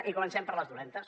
i comencem amb les dolentes